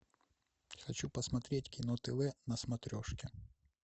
хочу посмотреть кино тв на смотрешке